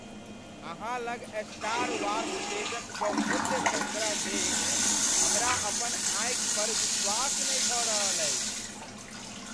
अहाँ लग Star Wars डेजक बहुमूल्य सङ्ग्रह देखि हमरा अपन आँखि पर विश्वास नहि भऽ रहल अछि।